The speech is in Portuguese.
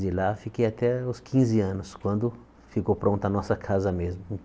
De lá fiquei até os quinze anos, quando ficou pronta a nossa casa mesmo.